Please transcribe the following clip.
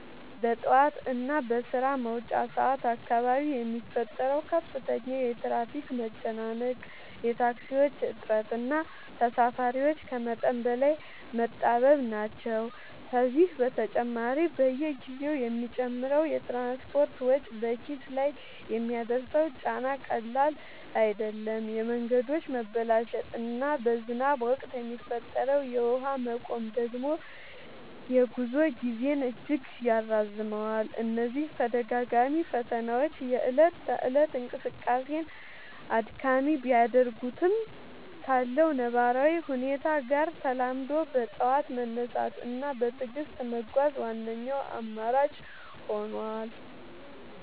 በጠዋት እና በስራ መውጫ ሰዓት አካባቢ የሚፈጠረው ከፍተኛ የትራፊክ መጨናነቅ፣ የታክሲዎች እጥረት እና ተሳፋሪዎች ከመጠን በላይ መጣበብ ናቸው። ከዚህ በተጨማሪ፣ በየጊዜው የሚጨምረው የትራንስፖርት ወጪ በኪስ ላይ የሚያደርሰው ጫና ቀላል አይደለም፤ የመንገዶች መበላሸት እና በዝናብ ወቅት የሚፈጠረው የውሃ መቆም ደግሞ የጉዞ ጊዜን እጅግ ያራዝመዋል። እነዚህ ተደጋጋሚ ፈተናዎች የእለት ተእለት እንቅስቃሴን አድካሚ ቢያደርጉትም፣ ካለው ነባራዊ ሁኔታ ጋር ተላምዶ በጠዋት መነሳት እና በትዕግስት መጓዝ ዋነኛው አማራጭ ሆኗል።